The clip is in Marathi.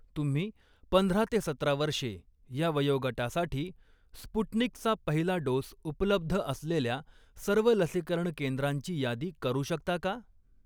तुम्ही पंधरा ते सतरा वर्षे या वयोगटासाठी स्पुटनिकचा पहिला डोस उपलब्ध असलेल्या सर्व लसीकरण केंद्रांची यादी करू शकता का?